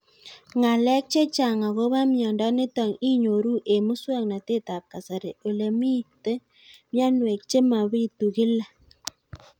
Ng'alek chechang' akopo miondo nitok inyoru eng' muswog'natet ab kasari ole mito mianwek che mapitu kila